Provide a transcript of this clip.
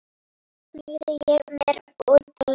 Þannig skýrði hann drunurnar sem væru undanfari gosanna.